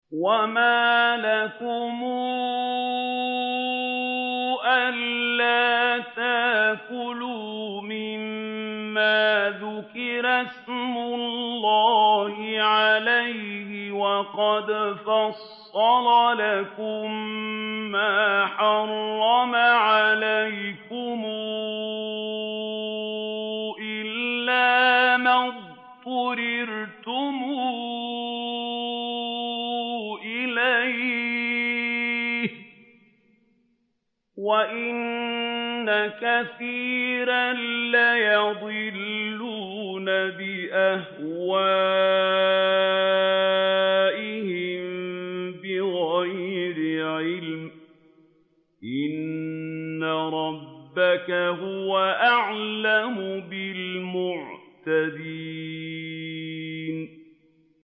وَمَا لَكُمْ أَلَّا تَأْكُلُوا مِمَّا ذُكِرَ اسْمُ اللَّهِ عَلَيْهِ وَقَدْ فَصَّلَ لَكُم مَّا حَرَّمَ عَلَيْكُمْ إِلَّا مَا اضْطُرِرْتُمْ إِلَيْهِ ۗ وَإِنَّ كَثِيرًا لَّيُضِلُّونَ بِأَهْوَائِهِم بِغَيْرِ عِلْمٍ ۗ إِنَّ رَبَّكَ هُوَ أَعْلَمُ بِالْمُعْتَدِينَ